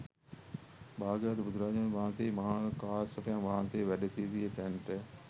භාග්‍යවත් බුදුරජාණන් වහන්සේ මහා කාශ්‍යපයන් වහන්සේ වැඩ සිටිය තැනට